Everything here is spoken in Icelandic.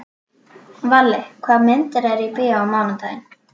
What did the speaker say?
Valli, hvaða myndir eru í bíó á mánudaginn?